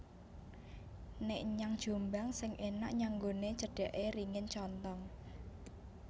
Nek nyang Jombang sing enak nyanggone cedake ringin contong